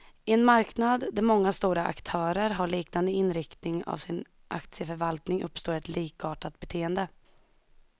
I en marknad där många stora aktörer har liknande inriktning av sin aktieförvaltning, uppstår ett likartat beteende.